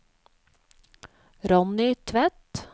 Ronny Tvedt